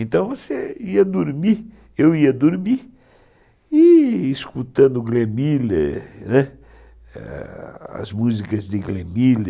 Então você ia dormir, eu ia dormir, e escutando Glemiller, né, as músicas de Glemiller,